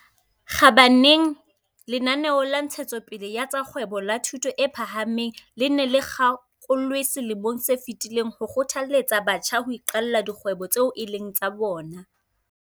Kgabareng lenaneo la Ntshe tsopele ya tsa Kgwebo la Thuto e Phahameng le ne le kgakolwe selemong se fetileng ho kgothaletsa batjha ho iqalla dikgwebo tseo e leng tsa bona.